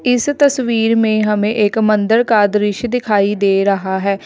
इस तस्वीर में हमें एक मंदिर का दृश्य दिखाई दे रहा है।